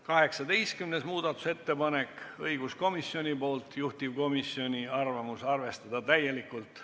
18. muudatusettepanek on samuti õiguskomisjonilt, juhtivkomisjoni arvamus on arvestada seda täielikult.